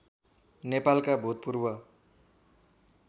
नेपालका भूतपूर्व